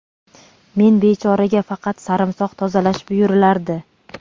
Men bechoraga faqat sarimsoq tozalash buyurilardi.